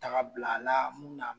Taga bila la mun na